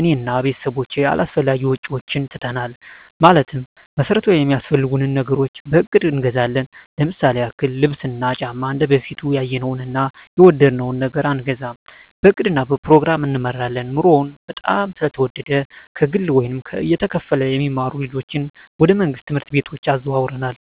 እኔ እና ቤተሰቦቸ አላስፈላጊ ወጪዎችን ትተናል ማለትም መሠረታዊ ሚያስፈልጉንን ነገሮች በእቅድ እንገዛለን ለምሳሌ ያክል ልብስ እና ጫማ እንደበፊቱ ያየነውን እና የወደድነውን ነገር አንገዛም በእቅድ እና በፕሮግራም እንመራለን ኑሮው በጣም ስለተወደደ ከግለ ወይም እየተከፈለ የሚማሩ ልጆችን ወደ መንግሥት ትምህርት ቤቶች አዘዋውረናል